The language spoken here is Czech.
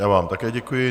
Já vám také děkuji.